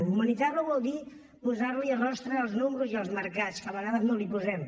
humanitzar lo vol dir posar rostre als números i als mercats que a vegades no els en posem